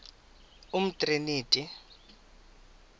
umtriniti